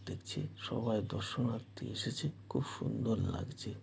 দেখছে সবাই দর্শনার্থী এসেছে খুব সুন্দর লাগছে।